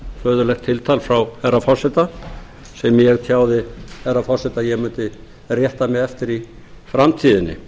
hæverskt föðurlegt tiltal frá herra forseta sem ég tjáði herra forseta að ég mundi rétta mig eftir í framtíðinni